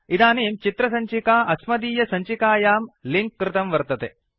इदानीं चित्रसञ्चिका अस्मदीयसञ्चिकायां लिंक् कृतं वर्तते